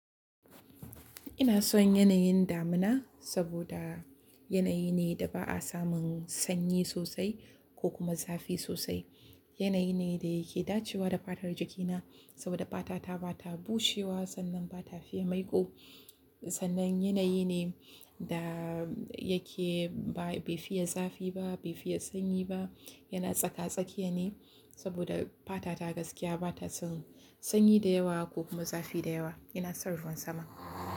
Ina son yanayin damina saboda yanayi ne da ba a samun sanyi sosai ko kuma zafi sosai. Yanayi ne da yake dacewa da fatar jikina saboda fata ta ba ta bushewa sannan ba ta fiya maiko. Sannan yanayi ne da yake ba, bai fiye zafi ba, bai fiye sanyi ba, yana tsaka-tsakiya ne saboda fata ta gaskiya ba ta son sanyi da yawa ko kuma zafi da yawa. Ina son ruwan sama.